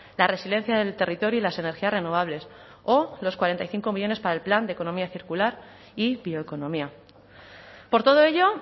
la resiliencia del territorio y las energías renovables o los cuarenta y cinco millónes para el plan de economía circular y bioeconomía por todo ello